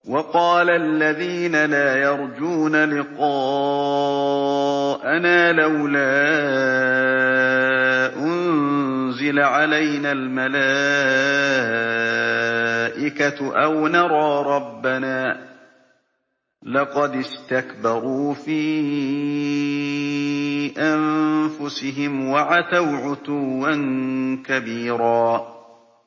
۞ وَقَالَ الَّذِينَ لَا يَرْجُونَ لِقَاءَنَا لَوْلَا أُنزِلَ عَلَيْنَا الْمَلَائِكَةُ أَوْ نَرَىٰ رَبَّنَا ۗ لَقَدِ اسْتَكْبَرُوا فِي أَنفُسِهِمْ وَعَتَوْا عُتُوًّا كَبِيرًا